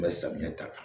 N bɛ samiya ta kan